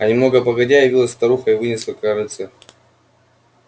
а немного погодя явилась старуха и вынесла корытце